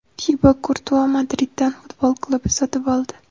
Tibo Kurtua Madriddan futbol klubi sotib oldi.